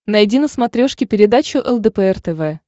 найди на смотрешке передачу лдпр тв